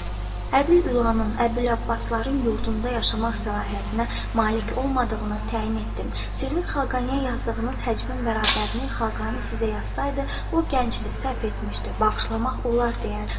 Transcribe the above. Əbül Ülanın Əbül Abbasların yurdunda yaşamaq səlahiyyətinə malik olmadığını təyin etdim, sizin Xaqaniyə yazdığınız həcbin bərabərini Xaqani sizə yazsaydı, o gəncdir, səhv etmişdi, bağışlamaq olar deyərdi.